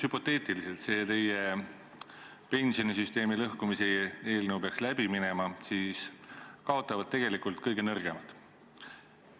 Kui teie pensionisüsteemi lõhkumise eelnõu peaks läbi minema – puhtalt hüpoteetiliselt –, siis tegelikult kaotavad kõige nõrgemad.